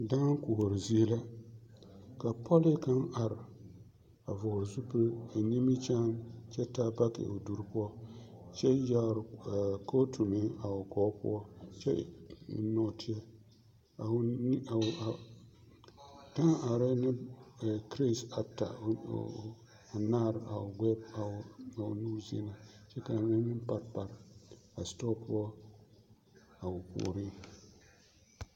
Dãã koɔre zie la ka pɔlee kaŋ are a vɔgele zupili eŋ nimikyaane kyɛ taa baki o duri poɔ kyɛ yɛre kootu meŋ a o gɔɔ poɔ kyɛ eŋ nɔɔteɛ, dãã arɛɛ ne kireti ata anaare a o nu zie na kyɛ k'a mine meŋ pare pare a setɔɔ poɔ a o puoriŋ.